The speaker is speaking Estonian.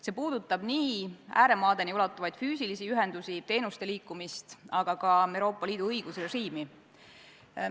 See puudutab nii ääremaadeni ulatuvaid füüsilisi ühendusi, teenuste liikumist, aga ka Euroopa Liidu õigusrežiimi.